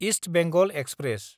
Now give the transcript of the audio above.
east Bengal express